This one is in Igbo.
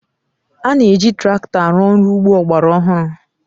A na-eji traktọ arụ ọrụ ugbo ọgbara ọhụrụ